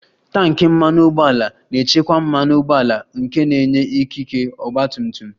Tanki mmanụ ụgbọala na-echekwa mmanụ ụgbọala nke na-enye ikike ọgba tum tum